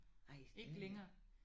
Nej slet ikke